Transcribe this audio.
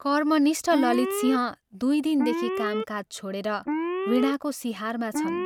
कर्मनिष्ठ ललितसिंह दुइ दिनदेखि कामकाज छोडेर वीणाको सिहारमा छन्।